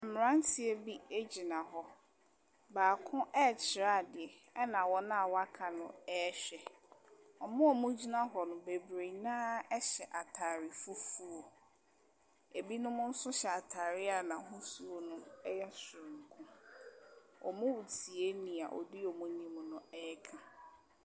Mmeranteɛ bi gyina hɔ, baako ɛrekyerɛ adeɛ, na wɔn aka no ɛrehwɛ. Wɔn a wɔgyina hɔ no bebree no ara hyɛ ataare fufuo, binom nso hyɛ ataare a n’ahosuo no yɛ soronko. Wɔretie deɛ odi wɔn anim no ɛreka.